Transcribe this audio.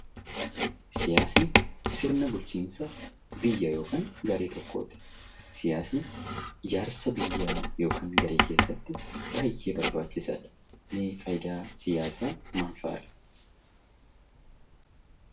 Siyaasni sirna bulchiinsa biyya ykn garee tokkooti. Siyaasni ijaarsa biyya (garee) keessatti baay'ee barbaachisaadha. Mee faayidaan siyaasa maal fa'adha?